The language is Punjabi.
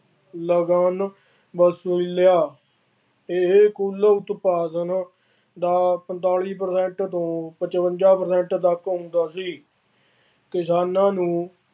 ਇਹ ਕੁੱਲ ਉਤਪਾਦਨ ਦਾ ਪੰਤਾਲੀ percent ਨੂੰ ਪਚਵੰਜ਼ਾ percent ਤੱਕ ਹੁੰਦਾ ਸੀ। ਕਿਸਾਨਾਂ ਨੂੰ